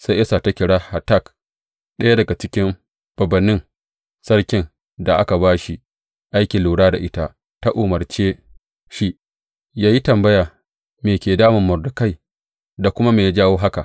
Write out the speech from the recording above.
Sai Esta ta kira Hatak, ɗaya daga cikin bābānnin sarkin da aka ba shi aikin lura da ita, ta umarce shi yă yi tambaya me ke damun Mordekai da kuma me ya jawo haka.